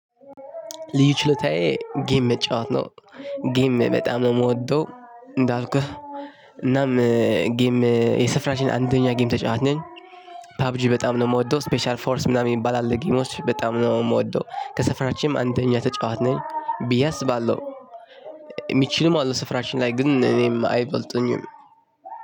ልዩ ችሎታዬ ጌም መጫወት ነው። ጌም በጣም ነው የምወደው። እንዳልኩህ እናም ጌም የሰፈራቺን አንደኛ ጌም ተጫዋች ነኝ። ፓብጂ በጣም ነው የምወደው ስፔሻል ፎርስ ምናምን ይባላል ጌሞቺ በጣም ነው የምወደው። ከሰፈራችንም አንደኛ ተጭዋች ነኚ ብዬ አስባለሁ። የሚችልም አሉ ሰፈራችን ላይ ግን እኔን አይበልጡኝም።